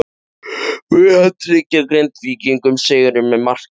Mun hann tryggja Grindvíkingum sigurinn með marki?